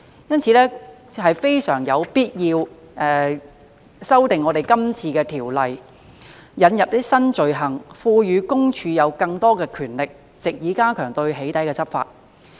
因此非常有必要修訂今次的條例，引入新罪行，並賦予私隱公署有更多權力，藉以加強對"起底"執法。